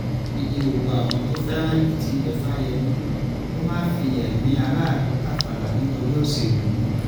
ní kí gbogbo àwọn tó fẹ́ràn èkìtì bẹ fáyemí kó má fi ẹ̀mí aráàlú tàfàlà nítorí òṣèlú